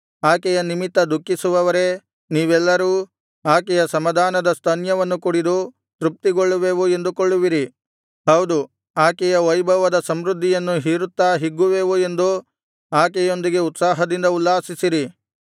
ಆಕೆಯ ನಿಮಿತ್ತ ದುಃಖಿಸುವವರೇ ನೀವೆಲ್ಲರೂ ಆಕೆಯ ಸಮಾಧಾನದ ಸ್ತನ್ಯವನ್ನು ಕುಡಿದು ತೃಪ್ತಿಗೊಳ್ಳುವೆವು ಎಂದುಕೊಳ್ಳುವಿರಿ ಹೌದು ಆಕೆಯ ವೈಭವದ ಸಮೃದ್ಧಿಯನ್ನು ಹೀರುತ್ತಾ ಹಿಗ್ಗುವೆವು ಎಂದು ಆಕೆಯೊಂದಿಗೆ ಉತ್ಸಾಹದಿಂದ ಉಲ್ಲಾಸಿಸಿರಿ